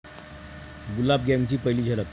गुलाब गँगची पहिली झलक